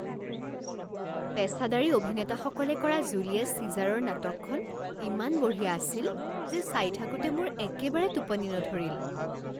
পেচাদাৰী অভিনেতাসকলে কৰা জুলিয়াছ চিজাৰৰ নাটকখন ইমান বঢ়িয়া আছিল যে চাই থাকোঁতে মোৰ একেবাৰে টোপনি নধৰিল।